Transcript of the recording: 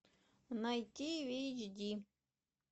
найти в эйч ди